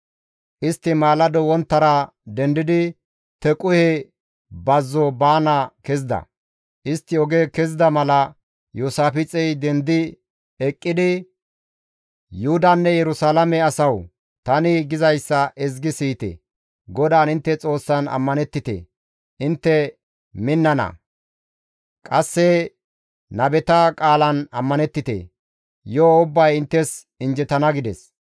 Istti maalado wonttara dendidi Tequhe bazzo baana kezida; istti oge kezida mala Iyoosaafixey dendi eqqidi, «Yuhudanne Yerusalaame asawu tani gizayssa ezgi siyite; GODAAN intte Xoossan ammanettite; intte minnana; qasse nabeta qaalan ammanettite; yo7o ubbay inttes injjetana» gides.